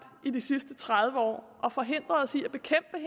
i de sidste tredive år og forhindret os i